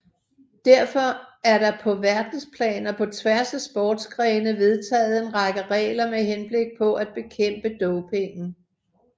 Derfor er der på verdensplan og på tværs af sportsgrene vedtaget en række regler med henblik på at bekæmpe dopingen